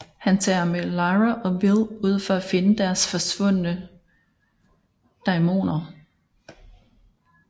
Han tager med Lyra og Will ud for at finde deres forsvundne daimoner